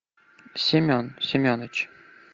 семен семеныч